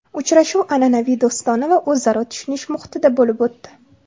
Uchrashuv an’anaviy do‘stona va o‘zaro tushunish muhitida bo‘lib o‘tdi.